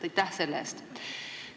Aitäh selle eest!